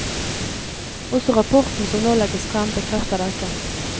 Også rapporten som nå legges frem, bekrefter dette.